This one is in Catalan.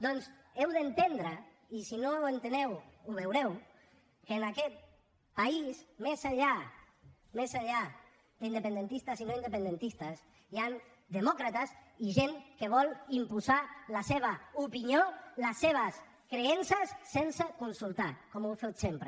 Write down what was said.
doncs heu d’entendre i si no ho enteneu ho veureu que en aquest país més enllà d’independentistes i no independentistes hi han demòcrates i gent que vol imposar la seva opinió les seves creences sense consultar com heu fet sempre